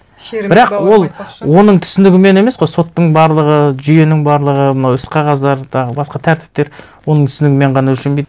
бірақ ол оның түсінігімен емес қой соттың барлығы жүйенің барлығы мынау ісқағаздар тағы басқа тәртіптер оның түсінігімен ғана өлшенбейді